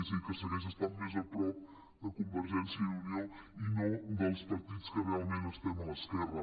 és a dir que segueix estant més a prop de convergèn·cia i unió i no dels partits que realment estem a l’esquerra